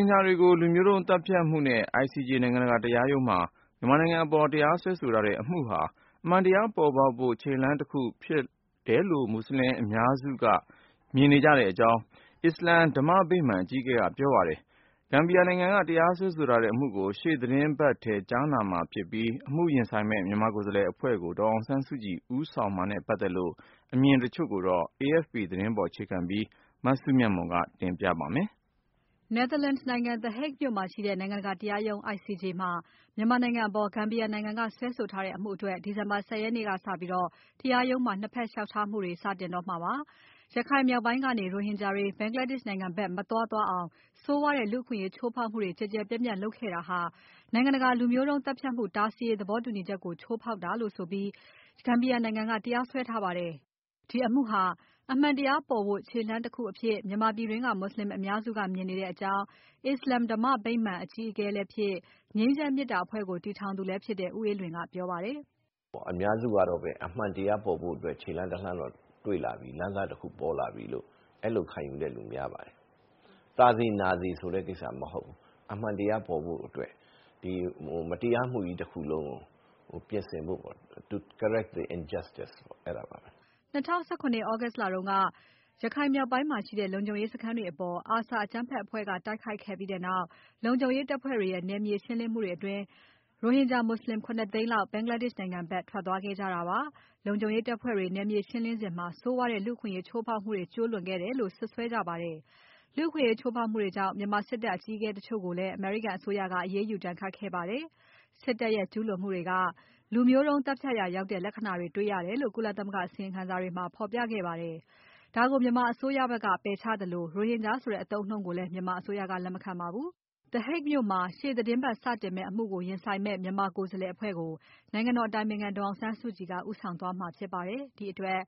င်ဂျာတွေကို လူမျိုးတုံးသတ်ဖြတ်မှု စွပ်စွဲချက်နဲ့ ICJ နိုင်ငံတကာတရားရုံးမှာ မြန်မာနိုင်ငံအပေါ် တရားစွဲထား တဲ့အမှုဟာ အမှန်တရားပေါ်ဖို့ ခြေလှမ်းတခုဖြစ်တယ်လို့ မွတ်ဆလင်အများစုက မြင်နေကြတဲ့အကြောင်း အစ္စလာမ် ဓမ္မဗိမာန် အကြီးအကဲက ပြောပါတယ်။ Gambia နိုင်ငံက တရားစွဲထားတဲ့အမှုကို ရှေ့သီတင်းပတ်ထဲမှာ စတင်ကြားနာတော့မယ့် အချိန်မှာ ပဲ အခုလိုပြောလိုက်တာပါ။ မြန်မာနိုင်ငံဘက်က အမှုရင်ဆိုင်မယ့် ကိုယ်စားလှယ်အဖွဲ့ကို ဒေါ်အောင်ဆန်းစုကြည် ဦးဆောင်မှာနဲ့ ပတ်သက်ပြီး အစ္စလာမ်ဓမ္မဗိမာန်အကြီးအကဲ ဦးအေးလွင်ရဲ့ သဘောထားအပါအဝင် အမြင်တချို့ကို AFP သတင်းကို အခြေခံပြီး မစုမြတ်မွန်က ပြောပြပါမယ်။ Netherlands နိုင်ငံ The Hague မြို့မှာရှိတဲ့ နိုင်ငံတကာတရားရုံး ICJ မှာ မြန်မာနိုင်ငံအပေါ် Gambia နိုင်ငံက စွဲဆိုထားတဲ့ အမှုအတွက် ဒီဇင်ဘာ ၁၀ ရက်နေကစပြီး တရားရုံးမှာ ၂ ဖက် လျှောက်ထားမှုတွေ လုပ်ကြရတော့မှာပါ။ ရခိုင်မြောက်ပိုင်းကနေ ရိုဟင်ဂျာတွေ Bangladesh နိုင်ငံဘက် မသွား သွားအောင် ဆိုးဝါးတဲ့လူ့အခွင့်အရေးချိုးဖောက်မှုတွေ ကျယ်ကျယ်ပြန့်ပြန့်လုပ်ခဲ့တာဟာ နိုင်ငံတကာ လူမျိုးတုန်းသတ်ဖြတ်မှု တားဆီးရေး သဘောတူညီချက်ကို ချိုးဖေါက်တာဆိုပြီး Gambia နိုင်ငံကတရားစွဲထားတာပါ။ ဒီအမှုဟာ အမှန်တရားပေါ်ဖို့ ခြေလှမ်းတခုအဖြစ် မြန်မာပြည်တွင်းက မူဆလင်အများစုက မြင်နေကြတဲ့အကြောင်း အစ္စလာမ်ဓမ္မဗိမာန်အကြီးအကဲလည်းဖြစ်၊ ငြိမ်းချမ်းမေတ္တာအဖွဲ့ကိုတည်ထောင်သူလည်းဖြစ်တဲ့ ဦးအေးလွင်က ပြောပါတယ်။ “အများစုကတော့ အမှန်တရားပေါ်ဖို့အတွက် ခြေလှမ်းတလှမ်း လမ်းစတခုတော့ ပွင့်လာပြီ လို့ အဲလိုခံယူတဲ့လူများပါတယ်။ သာစေ ၊ နာစေ ဆိုတဲ့ ကိစ္စမဟုတ်ဘူး အမှန်တရားပေါ်ဖို့အတွက် မတရားမှုကြီးတခုလုံးကို ပြင်ဆင်ဖို့အတွက် Correct the injustice ဆိုတဲ့ဟာပါပဲ။” ၂၀၁၇ သြဂုတ် လတုန်းက ရခိုင်မြောက်ပိုင်းမှာရှိတဲ့ လုံခြုံရေးစခန်းတွေအပေါ် ARSA အကြမ်းဖက်အဖွဲ့က တိုက်ခိုက်ခဲ့ပြီးနောက် လုံခြုံရေးတပ်ဖွဲ့တွေရဲ့ နယ်မြေရှင်းလင်းမှုအတွင်း ရိုဟင်ဂျာ မူဆလင် ၇ သိန်းလောက် Bangladesh နိုင်ငံဖက် ထွက်သွားခဲ့ကြတာပါ။ လုံခြုံရေးတပ်ဖွဲ့တွေ နယ်မြေရှင်းလင်းစဉ်မှာ ဆိုးဝါးတဲ့လူ့အခွင့်အရေး ချိုးဖောက်မှုတွေ ကျူးလွန်ခဲ့တယ်လို့ စွပ်စွဲကြပါတယ်။ လူ့အခွင့်အရေးချိုးဖောက်မှုတွေကြောင့် မြန်မာစစ်တပ်အကြီးအကဲတချို့ကိုလည်း အမေရိကန်အစိုးရက အရေးယူဒဏ်ခတ်ခဲ့ပါတယ်။ စစ်တပ်ရဲ့ ကျူးလွန်မှုတွေက လူမျိုးတုန်းသတ်ဖြတ်ရာရောက်တဲ့ လက္ခဏ္ဍာတွေတွေ့ရတယ်လို့ ကုလသမဂ္ဂအစီရင်ခံစာတွေမှာ ဖော်ပြခဲ့ပါတယ်။ ဒါကိုမြန်မာအစိုးရက ပယ်ချသလို ရိုဟင်ဂျာဆိုတဲ့ အသုံးအနှုန်းကိုလည်း မြန်မာအစိုးရက လက်မခံပါဘူး။ ရှေ့သီတင်းပတ် The Hague မှာ စတင်မယ့်အမှုကို ဒီအမှုကို ရင်ဆိုင်မယ့် မြန်မာကိုယ်စားလှယ်အဖွဲ့ကို နိုင်ငံတော်အတိုင်ပင်ခံ ဒေါ်အောင်ဆန်းစုကြည်က ဦးဆောင်သွားမှာဖြစ်ပါတယ်။ ဒီအတွက်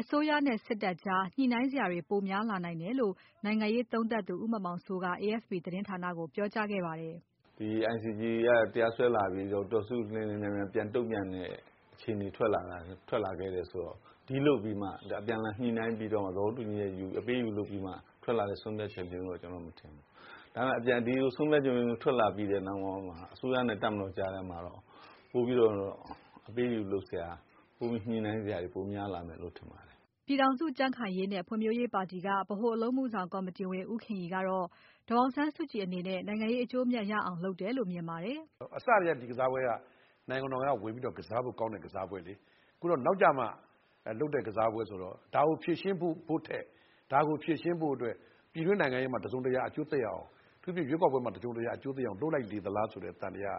အစိုးရနဲ့ စစ်တပ်ကြား ညှိနှိုင်းစရာတွေ ပိုများလာနိုင်တယ်လို့ နိုင်ငံရေးသုံးသပ်သူ ဦးမောင်မောင်စိုးက AFP သတင်းဌာနကို ပြောကြားခဲ့ပါတယ်။ “ဒီ ICJ က တရားစွဲလာပြီ ဒေါ်အောင်ဆန်းစုကြည် မြန်မြန်တုံ့ပြန်တဲ့အခြေအနေ ထွက်လာခဲ့တယ်ဆိုတော့ အပြန်အလှန်ညှိနှိုင်းပြီးတော့မှ သဘောတူညီချက်ယူ၊ အပေးအယူလုပ်ပြီးမှ ထွက်လာတဲ့ ဆုံးဖြတ်ချက်မျိုးတော့ ကျနော်ကတော့ မထင်ဘူး။ ဒါပေမယ့် ဒီလို ဆုံးဖြတ်ချက်မျိုးထွက်လာတဲ့ အချိန်မှာ အစိုးရနဲ့ တပ်မတော်ကြားထဲမှာ ပိုပြီးတော့ အပေးအယူလုပ်စရာ ပိုပြီးတော့ ညှိနှိုင်းစရာတွေ ပိုများလာမယ်လို့တော့ ထင်ပါတယ်။” ပြည်ထောင်စု ကြံ့ခိုင်ရေးနဲ့ဖွံ့ဖြိုးရေးပါတီက ဗဟိုအလုပ်မှုဆောင်ကော်မတီဝင် ဦးခင်ရီကတော့ ဒေါ်အောင်ဆန်းစုကြည်အနေနဲ့ နိုင်ငံရေး အကျိုးအမြတ်ရအောင်လုပ်တယ်လို့ မြင်ပါတယ်။ “အစကတည်းက ဒီကစားပွဲက နိုင်ငံတော်က ဝင်ပြီးတော့ ကစားလို့ကောင်းတဲ့ ကစားပွဲလေ။ အခုတော့ နောက်ကျမှ လုပ်တဲ့ ကစားပွဲဆိုတော့ ဒါကို ဖြေရှင်းဖို့ထက်၊ ဒါကိုဖြေရှင်းဖို့အတွက် ပြည်တွင်းနိုင်ငံရေးမှာ တစုံတရာအကျိုးသက်ရောက်အောင်၊ အထူးသဖြင့် ရွေးကောက်ပွဲမှာ တစုံတရာအကျိုးသက်ရောက်အောင် လုပ်လိုက်လေသလားဆိုတဲ့ သံသယက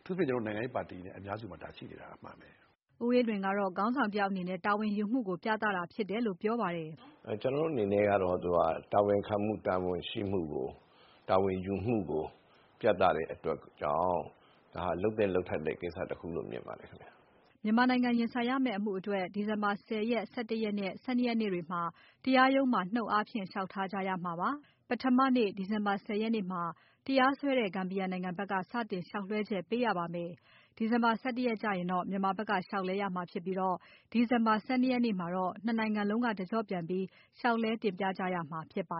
အထူးသဖြင့် ကျနော်တို့ နိုင်ငံရေးပါတီ နဲ့ အများစုမှာ ဒါရှိနေတာ အမှန်ပဲ။” ဦးအေးလွင်ကတော့ ခေါင်းဆောင်တယောက်အနေနဲ့ တာဝန်ယူမှုကို ပြသတာဖြစ်တယ်လို့ ပြောပါတယ်။ “ကျနော်တို့အနေနဲ့ကတော့ သူက တာဝန်ခံမှု၊ တာဝန်ရှိမှု၊ တာဝန်ယူမှုကို ပြသတဲ့အတွက်ကြောင့် ဒါက လုပ်သင့်လုပ်ထိုက်တဲ့ကိစ္စတခုလို့ မြင်ပါတယ်။” မြန်မာနိုင်ငံရင်ဆိုင်ရမယ့် အမှုအတွက် ဒီဇင်ဘာလ ၁၀ ရက်၊ ၁၁ ရက်နဲ့ ၁၂ ရက်နေ့တွေမှာ တရားရုံးမှာ နှုတ်အားဖြင့်လျှောက်ထားကြရမှာပါ။ ပထမနေ့ ဒီဇင်ဘာ ၁၀ ရက်မှာ တရားစွဲတဲ့ Gambia နိုင်ငံဖက်က စတင်လျှောက်လွဲှချက်ပေးရမှာပါ။ ဒီဇင်ဘာ ၁၁ ရက်ကျရင်တော့ မြန်မာဖက်က လျှောက်လဲရမှာဖြစ်ပြီး ဒီဇင်ဘာ ၁၂ ရက်နေ့ကျရင်တော့ ၂ နိုင်ငံလုံးက တကျော့ပြန်ပြီး တင်ပြကြရမှာဖြစ်ပါ